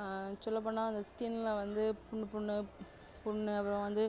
ஆஹ் சொல்லப்போனா இந்த skin ல வந்து புண்ணு புண்ணு புண்ணு அப்பறம் வந்து